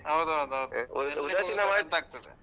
ಹೌದ್ ಹೌದ್ ಹೌದ್ ovelap ಆಗ್ತದೆ.